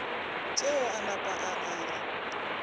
tšeo a napa a ngala